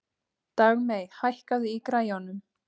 Dagmey, hækkaðu í græjunum.